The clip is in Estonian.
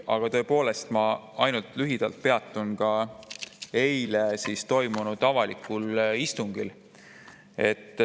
Aga tõepoolest, ma ainult lühidalt peatun eile toimunud avalikul istungil.